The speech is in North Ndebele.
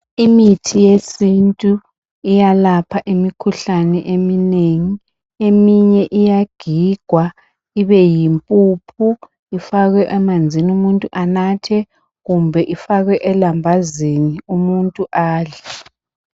Imithi yesintu iyalapha imikhuhlane eminengi eminye iyagigwa ibe yi mpuphu, ifakwe emanzini umuntu anathe kumbe ifakwe elambazini umuntu adle.